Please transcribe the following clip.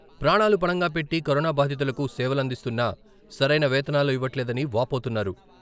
ప్రాణాలు పణంగా పెట్టి కరోనా బాధితులకు సేవలందిస్తున్నా సరైన వేతనాలు ఇవ్వట్లేదని వాపోతున్నారు.